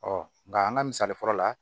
nka an ka misali fɔlɔ la